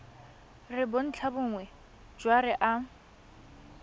re bontlhabongwe jwa re a